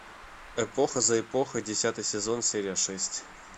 эпоха за эпохой десятый сезон серия шесть